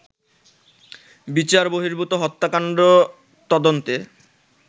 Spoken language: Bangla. বিচার বহির্ভূত হত্যাকাণ্ড তদন্তে